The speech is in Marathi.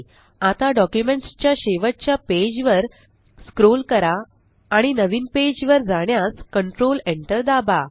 आता डॉक्युमेंट्स च्या शेवटच्या पेज वर स्क्रोल करा आणि नवीन पेज वर जाण्यास कंट्रोल Enter दाबा